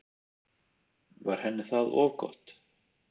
Var henni það of gott?